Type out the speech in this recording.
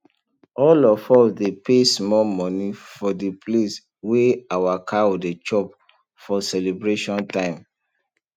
all of us dey pay small money for d place wey our cow dey chop for celebration time